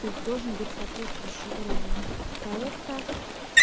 то есть должен быть соответствующий уровень проекта